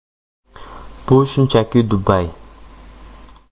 Bu shunchaki Dubay.